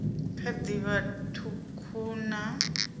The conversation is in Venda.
kha ḓi vha ṱhukhu na